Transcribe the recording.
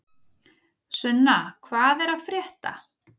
Sunna, hvað er að frétta?